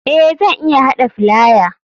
Eh zan iya hada filaya.